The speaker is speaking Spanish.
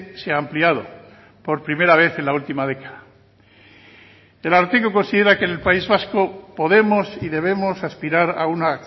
se ha ampliado por primera vez en la última década el ararteko considera que el país vasco podemos y debemos aspirar a una